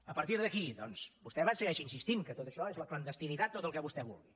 a partir d’aquí doncs vostè segueix insistint que tot això és la clandestinitat tot el que vostè vulgui